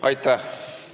Aitäh!